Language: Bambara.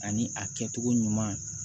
Ani a kɛcogo ɲuman